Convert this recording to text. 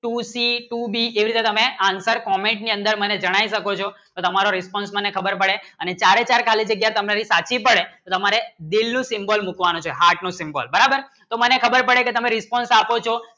Two C Two D એવી રીતે તમે Answer Comment ની અંદર મને જણાઇ શકો છો તો તમારો Response મને ખબર પડે અને ચારે ચાર ખાલી જગ્યાએ તમારી સાચી પડે રમારે Dil નું Symbol મુકવાનું છે Heart નું Symbol બરાબર તો મને ખબર પડે કે તમે Response આપો છો